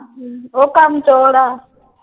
ਅਮ ਉਹ ਕੰਮ ਚੋਰ ਆ।